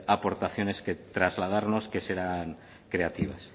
aportaciones que trasladarnos que serán creativas